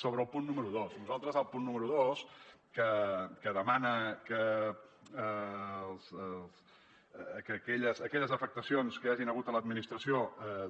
sobre el punt número dos nosaltres al punt número dos que demana que aquelles afectacions que hi hagin hagut a l’administració